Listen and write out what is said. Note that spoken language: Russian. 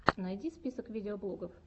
найди список видеоблогов